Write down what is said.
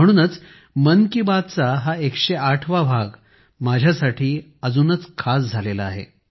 म्हणूनच मन की बात चा हा 108 वा भाग माझ्यासाठी अजूनच खास झाला आहे